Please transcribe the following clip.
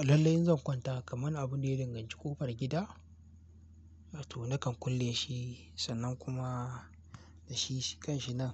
Alallai zan kwanta kamar abin da ya dinganci ƙofar gida, to nakan kulle shi sannan kuma da shi kan shi nan